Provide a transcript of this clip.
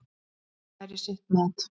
Það væri sitt mat.